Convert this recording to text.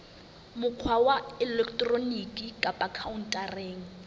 mokgwa wa elektroniki kapa khaontareng